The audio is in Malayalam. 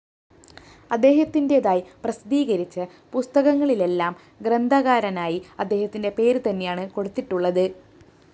അദ്ദേഹത്തിന്റേതായി പ്രസിദ്ധീകരിച്ച പുസ്തകങ്ങളിലെല്ലാം ഗ്രന്ഥകാരനായി അദ്ദേഹത്തിന്റെ പേര് തന്നെയാ കൊടുത്തിട്ടുള്ളത്